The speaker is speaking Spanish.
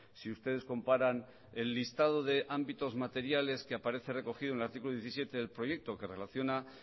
si ustedes comparan el listado de ámbitos materiales que aparece recogido en el artículo diecisiete del proyecto que relaciona